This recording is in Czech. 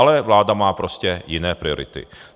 Ale vláda má prostě jiné priority.